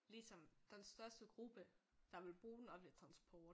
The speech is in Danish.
Ligesom den største gruppe der ville bruge den offentlige transport